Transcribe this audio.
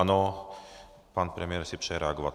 Ano, pan premiér si přeje reagovat.